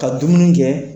Ka dumuni kɛ